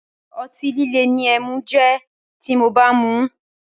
Otí líle ni ẹmu jẹ́ ti mo bá ń muú.